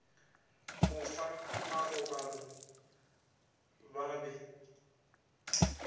mo fa marobalo ba be